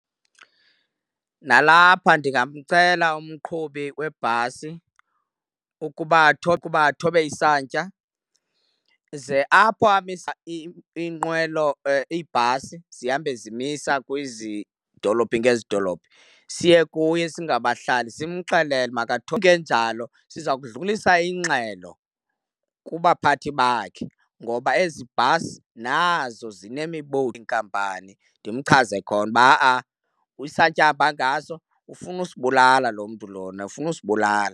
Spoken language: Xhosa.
Nalapha ndingamcela umqhubi webhasi ukuba athobe, athobe isantya ze apho amisa iinqwelo, iibhasi zihambe zimisa kwezi dolophi ngezi dolophi siye kuye singabahlali simxelele . Kungenjalo siza kudlulisa ingxelo kubaphathi bakhe ngoba ezi bhasi nazo iinkampani, ndimchaze khona uba ha-a isantya ahamba ngaso, ufuna usibulala lo mntu lona, ufuna usibulala.